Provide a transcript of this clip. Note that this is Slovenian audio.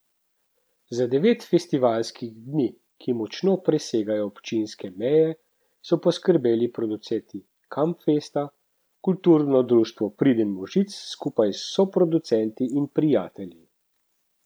Za devet festivalskih dni, ki močno presegajo občinske meje, so poskrbeli producenti Kamfesta, Kulturno društvo Priden možic skupaj s soproducenti in prijatelji.